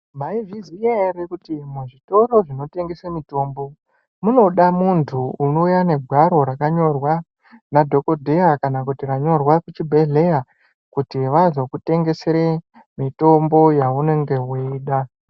Maizviziya ere kuti muzvitoro zvinotengeswa mitombo munoda muntu unouya negwaro rakanyorwa nadhokodheya kana kuti ranyorwa kuchibhedhleya kuti vazokutengesere mitombo yaunenge weida .